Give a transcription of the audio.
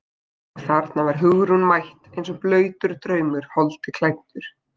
Og þarna var Hugrún mætt eins og blautur draumur holdi klæddur.